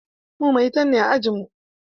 Mu maitan ne a ajinmu.